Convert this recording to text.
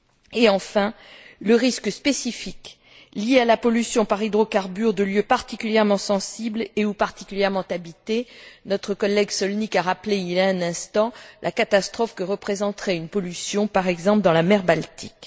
et, enfin, le risque spécifique lié à la pollution par hydrocarbures de lieux particulièrement sensibles et ou particulièrement habités. Notre collègue Sonik a rappelé il y a un instant la catastrophe que représenterait une pollution, par exemple dans la mer Baltique.